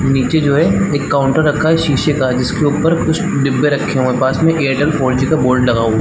निचे जो है एक काउंटर रखा है शीशे का जिसके ऊपर कुछ डिब्बे रखे हुए है पास में एयरटेल फोर जी का बोर्ड लगा हुआ है।